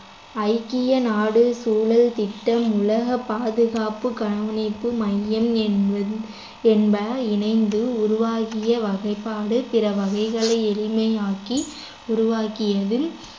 ஐக்கிய நாடு சூழல் திட்டம் உலக பாதுகாப்பு கண்காணிப்பு மையம் என்பது என்ப இணைந்து உருவாக்கிய வகைப்பாடு பிற வகைகளை எளிமையாக்கி உருவாக்கியதில்